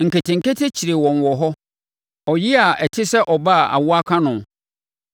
Nketenkete kyeree wɔn wɔ hɔ, ɔyea a ɛte sɛ ɔbaa a awoɔ aka no.